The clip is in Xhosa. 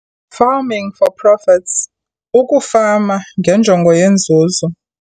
Farming for Profits - Ukufama ngeNjongo yeeNzuzo